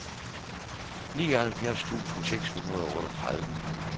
nioghalvfjerds tusind seks hundrede og otteogtredive